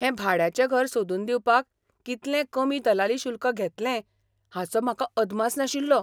हें भाड्याचें घर सोदून दिवपाक कितलें कमी दलाली शुल्क घेतलें हाचो म्हाका अदमास नाशिल्लो.